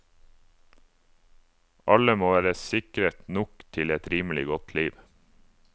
Alle må være sikret nok til et rimelig godt liv.